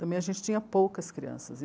Também a gente tinha poucas crianças.